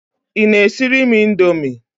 Ị na-esire m Indomie?